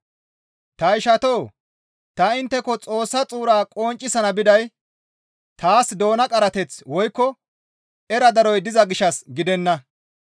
Ta ishatoo! Ta intteko Xoossa xuura qonccisana biday taas doona qarateththi woykko era daroy diza gishshas gidenna.